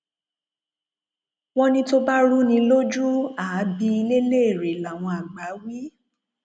wọn ní tó bá rú ni lójú àá bi ilé léèrè làwọn àgbà wí